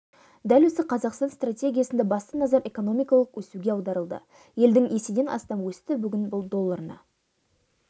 дәл осы қазақстан стратегиясында басты назар экономикалық өсуге аударылды елдің еседен астам өсті бүгін бұл долларына